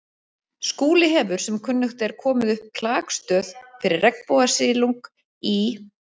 Skúli hefur sem kunnugt er komið upp klakstöð fyrir regnbogasilung í